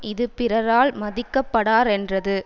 இது பிறரால் மதிக்கப்படாரென்றது